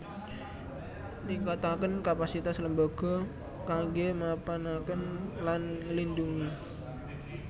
Ningkataken kapasitas lembaga kanggé mapanaken lan nglindhungi